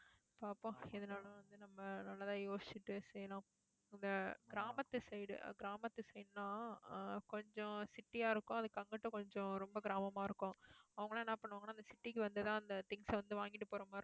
பாப்போம் எதுனாலும் வந்து, நம்ம நல்லதா யோசிச்சிட்டு செய்யணும். இந்த கிராமத்து side கிராமத்து side னா ஆஹ் கொஞ்சம், city யா இருக்கும். அதுக்கு அங்கிட்டு கொஞ்சம் ரொம்ப கிராமமா இருக்கும் அவங்க எல்லாம் என்ன பண்ணுவாங்கன்னா இந்த city க்கு வந்துதான் அந்த things அ வந்து வாங்கிட்டு போற மாதிரி இருக்கும்